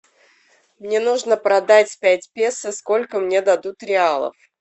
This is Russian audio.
мне нужно продать пять песо сколько мне дадут реалов